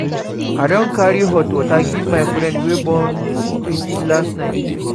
I don carry hot water go give my friend wey born pikin last night.